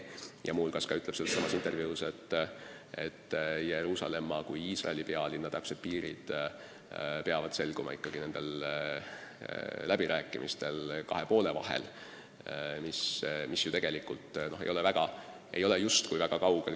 Ja veel ütles ta sellessamas intervjuus, et Jeruusalemma kui Iisraeli pealinna täpsed piirid peavad selguma ikkagi nendel läbirääkimistel kahe poole vahel, mis justkui pole väga kaugel.